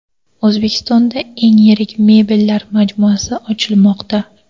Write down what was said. O‘zbekistonda eng yirik mebellar majmuasi ochilmoqda.